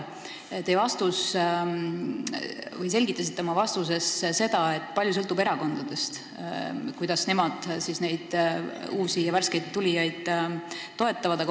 Te selgitasite oma vastuses, et erakondadest sõltub suuresti, kuidas nemad uusi ja värskeid tulijaid toetavad.